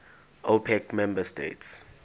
opec member states